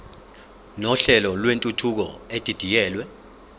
nohlelo lwentuthuko edidiyelwe